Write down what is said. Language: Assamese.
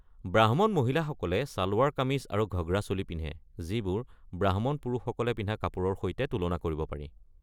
ব্ৰাহ্মণ মহিলাসকলে ছালৱাৰ কামিজ আৰু ঘগ্ৰা চোলি পিন্ধে, যিবোৰ ব্ৰাহ্মণ পুৰুষসকলে পিন্ধা কাপোৰৰ সৈতে তুলনা কৰিব পাৰি।